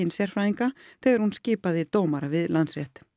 sérfræðinga þegar hún skipaði dómara við Landsrétt